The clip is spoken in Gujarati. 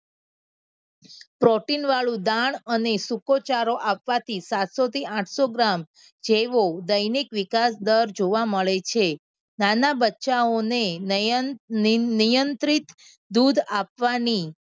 Protein વાળું દાણ અને સૂકોચારો આપવાથી સાતસો થી આઠસો ગ્રામ જેવો દૈનિક વિકાસ દર જોવા મળે છે. નાના બચ્ચાઓ અને નયન નિયંત્રિત દૂધ આપવાની